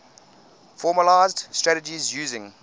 formalised strategies using